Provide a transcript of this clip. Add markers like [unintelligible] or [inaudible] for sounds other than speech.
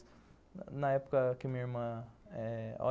Na época que a minha irmã eh, olha [unintelligible]